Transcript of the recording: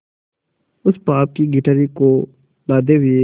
उस पाप की गठरी को लादे हुए